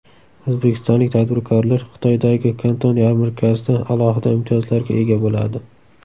O‘zbekistonlik tadbirkorlar Xitoydagi Kanton yarmarkasida alohida imtiyozlarga ega bo‘ladi.